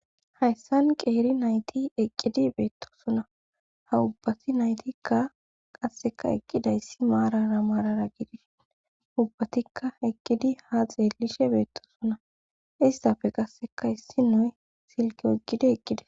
hayssan qeeri nayti eqqidi beettosuna ha ubbati naytikka qasseka eqqidayssi maarara maarara gidin ubbatikka eqqidi ha xeelishe beettosuna istafe qasseka issi nue silki eqqidi eqqide